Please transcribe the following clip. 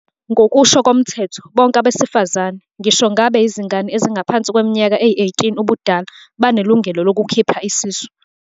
Ngokusho koMthetho, bonke abesifazane, ngisho ngabe yizingane ezingaphansi kweminyaka eyi-18 ubudala, banelungelo lokukhipha isisu.